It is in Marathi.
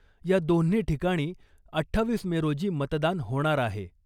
या दोन्ही ठिकाणी अठ्ठावीस मे रोजी मतदान होणार आहे .